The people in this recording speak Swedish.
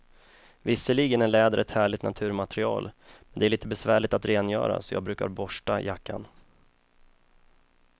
Visserligen är läder ett härligt naturmaterial, men det är lite besvärligt att rengöra, så jag brukar borsta jackan.